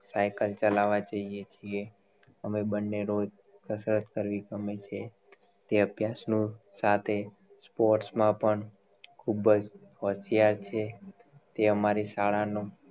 cycle ચલાવા જઈએ છીએ અમે બંને રોજ કસરત કરવી ગમે છે તે અભ્યાસ નું સાથે sports માં પણ ખુબજ હોશિયાર છે તે અમારી શાળા નો